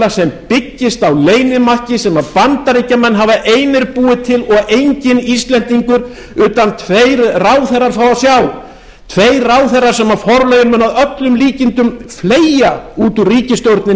varnarsamkomulag sem byggist á leynimakki sem bandaríkjamenn hafa einir búið til og enginn íslendingur utan tveir ráðherrar fá að sjá tveir ráðherrar sem forlögin munu að öllum líkindum fleygja út úr